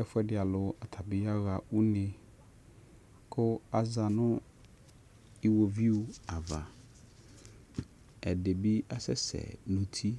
Ɛfʊɛdɩ alʊ aɣa une kʊ aza ɩwovɩʊ ava ɛdɩbɩ asɛsɛ nʊ ʊtɩ